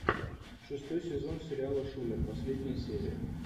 шестой сезон сериала шулер последняя серия